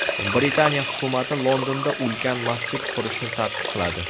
Britaniya hukumati Londonda ulkan masjid qurishni taqiqladi.